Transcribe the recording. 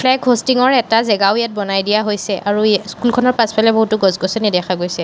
Hosting ৰ এটা জেগাও ইয়াত বনাই দিয়া হৈছে। আৰু স্কুলখনৰ পাছফালে বহুতো গছ-গছনি দেখা গৈছে।